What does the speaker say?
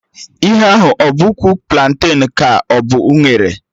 Ihe ahụ a bụ ụkwụ planten ka ọ bụ unere?